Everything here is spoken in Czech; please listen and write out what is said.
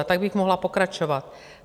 A tak bych mohla pokračovat.